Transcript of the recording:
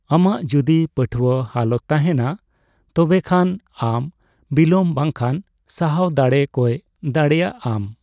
ᱟᱢᱟᱜ ᱡᱚᱫᱤ ᱯᱟᱹᱴᱷᱣᱟᱹ ᱦᱟᱣᱞᱟᱛ ᱛᱟᱦᱮᱸᱱᱟ, ᱛᱚᱵᱮ ᱠᱷᱟᱱ ᱟᱢ ᱵᱤᱞᱟᱹᱢ ᱵᱟᱝᱠᱷᱟᱱ ᱥᱟᱦᱟᱣ ᱫᱟᱲᱮ ᱠᱚᱭ ᱫᱟᱲᱮᱭᱟᱜᱼᱟᱢ ᱾